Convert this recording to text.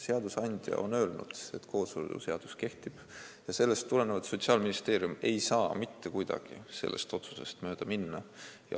Seadusandja on öelnud, et kooseluseadus kehtib, ja Sotsiaalministeerium ei saa mitte kuidagi sellest otsusest mööda minna.